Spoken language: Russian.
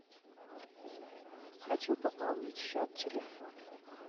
хочу пополнить счет телефона